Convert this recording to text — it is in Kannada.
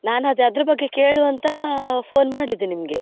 ನಾನ್ ಅದೇ ಅದರ ಬಗ್ಗೆ ಕೇಳುವ ಅಂತ phone ಮಾಡಿದ್ದು ನಿಮಗೆ.